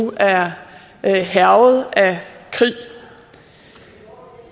er hærget af krig